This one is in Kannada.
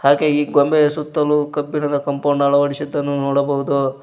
ಹಾಗೆ ಈ ಕೊಂಬೆಯ ಸುತ್ತಲೂ ಕಬ್ಬಿಣದ ಕಾಂಪೌಂಡ್ ಅಳವಡಿಸಿದ್ದನ್ನು ನೋಡಬಹುದು.